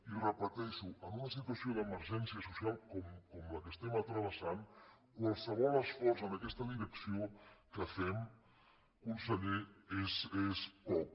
i ho repeteixo en una situació d’emergència social com la que estem travessant qualsevol esforç en aquesta direcció que fem conseller és poc